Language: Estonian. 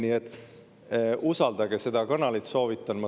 Nii et usaldage seda kanalit, soovitan!